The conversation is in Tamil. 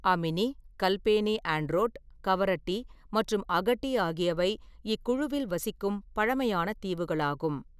அமினி, கல்பேனி ஆண்ட்ரோட், கவரட்டி மற்றும் அகட்டி ஆகியவை இக்குழுவில் வசிக்கும் பழமையான தீவுகளாகும்.